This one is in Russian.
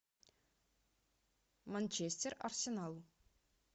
манчестер арсенал